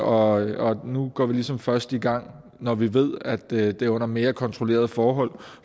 og nu går vi ligesom først i gang når vi ved at det er under mere kontrollerede forhold